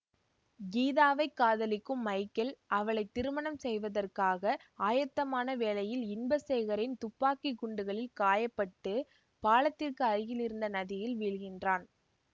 கீதாவைக் காதலிக்கும் மைக்கேல் அவளைத்திருமணம் செய்வதற்காக ஆயத்தமான வேளையில் இன்பசேகரின் துப்பாக்கி குண்டுகளில் காயப்பட்டு பாலத்திற்கு அருகில் இருந்த நதியில் வீழ்கின்றான்